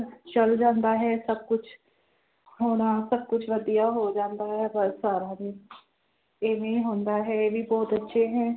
ਚੱਲ ਜਾਂਦਾ ਹੈ ਸਭ ਕੁਛ ਹੋਣਾ, ਸਭ ਕੁਛ ਵਧੀਆ ਹੋ ਜਾਂਦਾ ਹੈ ਬਸ ਸਾਰਾ ਦਿਨ ਇਵੇਂ ਹੀ ਹੁੰਦਾ ਹੈ, ਇਹ ਵੀ ਬਹੁਤ ਅੱਛੇ ਹੈ।